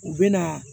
U bɛ na